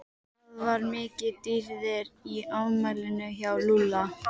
Það var mikið um dýrðir í afmælinu hjá Lúlla.